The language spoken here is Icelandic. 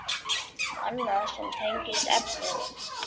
Annað sem tengist efninu